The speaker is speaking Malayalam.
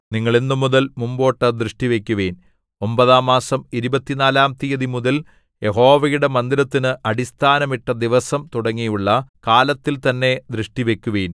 നിങ്ങൾ ഇന്നുമുതൽ മുമ്പോട്ട് ദൃഷ്ടിവക്കുവിൻ ഒമ്പതാം മാസം ഇരുപത്തിനാലാം തീയതിമുതൽ യഹോവയുടെ മന്ദിരത്തിന് അടിസ്ഥാനം ഇട്ട ദിവസം തുടങ്ങിയുള്ള കാലത്തിൽ തന്നെ ദൃഷ്ടിവക്കുവിൻ